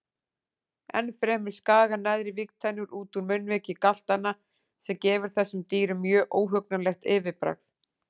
Ennfremur skaga neðri vígtennurnar út úr munnviki galtanna sem gefur þessum dýrum mjög óhugnanlegt yfirbragð.